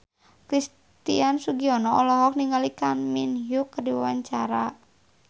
Christian Sugiono olohok ningali Kang Min Hyuk keur diwawancara